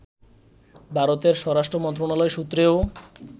ভারতের স্বরাষ্ট্র মন্ত্রণালয় সূত্রেও